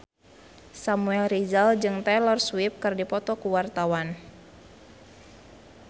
Samuel Rizal jeung Taylor Swift keur dipoto ku wartawan